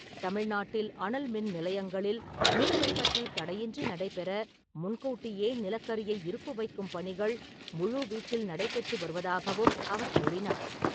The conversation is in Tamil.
தமிழ்நாட்டில் அனல் மின் நிலையங்களில் மின் உற்பத்தி தடையின்றி நடைபெற முன்கூட்டியே நிலக்கரியை இருப்பு வைக்கும் பணிகள் முழுவீச்சில் நடைபெற்று வருவதாகவும் அவர் கூறினார் .